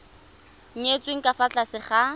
nyetswe ka fa tlase ga